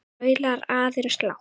Raular aðeins lágt.